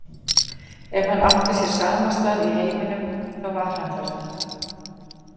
Ef hann átti sér samastað í heiminum, þá var hann þarna.